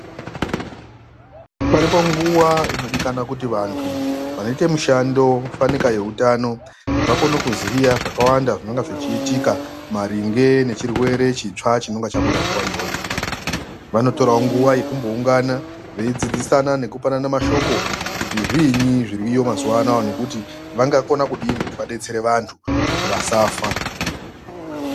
Paripo nguva inodikanwa kuti vantu vaite mushando fanike yehutano vakone kuziya zvakawanda zvinenge zvichiitika maringe ngechirwere chinenge chabuda panguva iyoyo ,vanotorawo nguva yekumbowungana veyidzidzisana nekupanana mashoko kuti zvinyi zviriyo mazuvaanaya nekuti vangakona kudii kuti vadetsere vantu kuti vasafa.